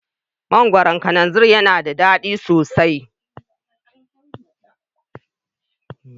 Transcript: Mangoron kananzir yana da daɗi sosai